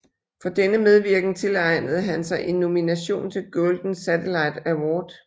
For denne medvirken tilegnede han sig en nomination til Golden Satellite Award